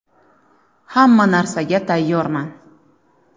Hamma narsaga tayyorman.